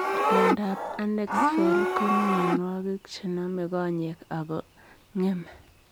Miondoop Anexfeld ko mionwogik chenomee konyeek ako ngemee